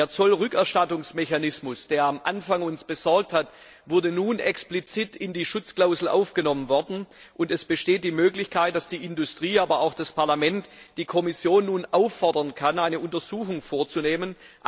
Der Zollrückerstattungsmechanismus, der uns anfangs Sorge bereitet hat, wurde nun explizit in die Schutzklausel aufgenommen, und es besteht die Möglichkeit, dass die Industrie, aber auch das Parlament die Kommission nun auffordern kann, eine Untersuchung vorzunehmen.